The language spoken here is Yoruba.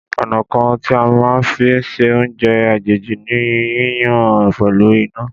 Ọ̀nà kan tí a máa ń fi ṣe oúnjẹ àjèjì ni yíyan pẹ̀lú iná.